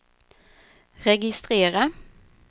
registrera